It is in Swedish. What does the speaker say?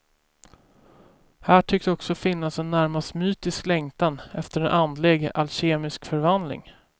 Här tycks också finnas en närmast mystisk längtan, efter en andlig alkemisk förvandling.